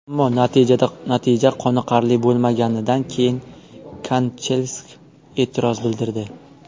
Ammo natija qoniqarli bo‘lmaganidan keyin Kanchelskis e’tiroz bildirdi.